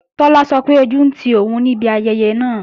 Tọ́lá sọ pé ojú ń ti òun níbi ayẹyẹ náà